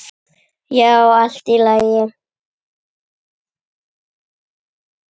Já, allt í lagi.